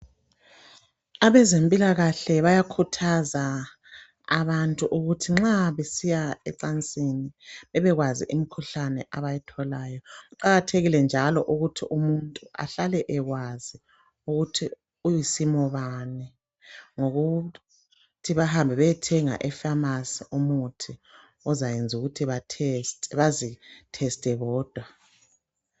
Abezempilakahle bayakhuthaza abantu ukuthi nxa besiya ecansini bebekwazi imikhuhlane abatholayo kuqakathekile njalo ukuthi umuntu ahlale ekwazi ukuthi uyisimo bani ngokuthi bahamba bayethenga efamasi umuthi ezoyenza ukuthi bazitheste bodwa.